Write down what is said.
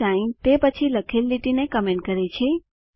sign તે પછી લખેલ લીટીને કમેન્ટ કરે છે